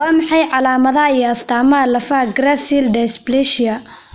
Waa maxay calaamadaha iyo astaamaha lafaha Gracile dysplasia?